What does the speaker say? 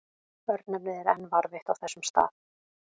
Örnefnið er enn varðveitt á þessum stað.